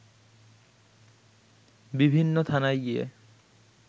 বিভিন্ন থানায় গিয়ে